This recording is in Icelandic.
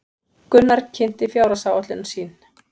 Gunnar kynnti fjárhagsáætlun sín